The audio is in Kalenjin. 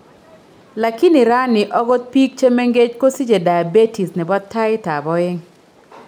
Lakini raani ogot biik chemengech kosiche diabetes nebo taiit ab oeng'